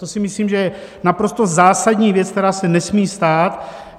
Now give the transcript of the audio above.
To si myslím, že je naprosto zásadní věc, která se nesmí stát.